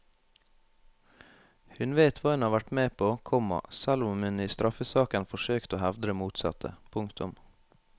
Hun vet hva hun har vært med på, komma selv om hun i straffesaken forsøkte å hevde det motsatte. punktum